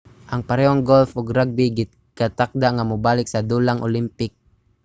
ang parehong golf ug rugby gikatakda nga mobalik sa dulang olympic